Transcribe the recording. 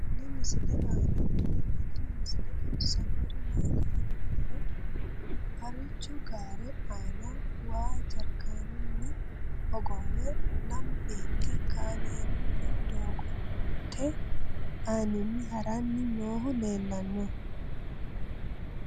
tenne misile aana noorina tini misile xawissannori maati yinummoro harichchu gaare aanna waa jarikeennunni hogowe lamu beetti kaammelunno doogotte aanninni haranni noohu leellanno